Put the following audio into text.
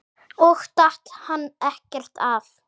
Og datt hann ekkert af?